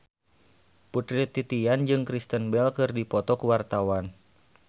Putri Titian jeung Kristen Bell keur dipoto ku wartawan